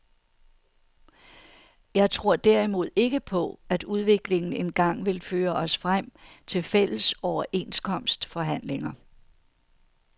Jeg tror derimod ikke på, at udviklingen engang vil føre os frem til fælles overenskomstforhandlinger.